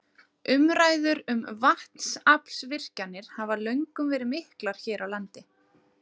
Umræður um vatnsaflsvirkjanir hafa löngum verið miklar hér á landi.